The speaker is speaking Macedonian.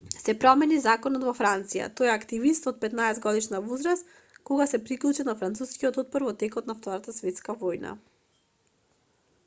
се промени законот во франција тој е активист од 15-годишна возраст кога се приклучил на францускиот отпор во текот на втората светска војна